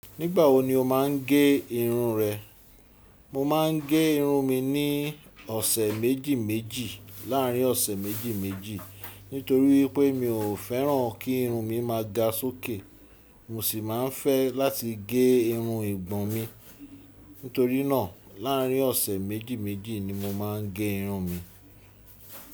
Nígbà wo ni o máa ń gé irun rẹ? Mo máa ń gé irun mi ní ọ̀sẹ̀ méjìméjì. Láàárín ọ̀sẹ̀ méjìméjì. Nítorí pé mi ò fẹ́ràn kí irun mi máa ga sókè. Mo sì máa ń fẹ́ láti gé irun ìgbọ̀n mi. Nítorí náà, láàárín ọ̀sẹ̀ méjìméjì ni mo máa ń gé irun mi.